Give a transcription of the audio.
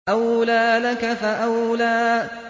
أَوْلَىٰ لَكَ فَأَوْلَىٰ